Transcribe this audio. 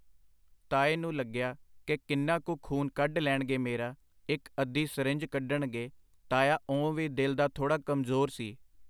ਤਾਏ ਨੂੰ ਲੱਗਿਆ ਕਿ ਕਿੰਨਾ ਕੁ ਖੂਨ ਕੱਢ ਲੈਣਗੇ ਮੇਰਾ ਇੱਕ ਅੱਧੀ ਸਰਿੰਜ ਕੱਡਣਗੇ ਤਾਇਆ ਓਂ ਵੀ ਦਿਲ ਦਾ ਥੋੜਾ ਕਮਜ਼ੋਰ ਸੀ.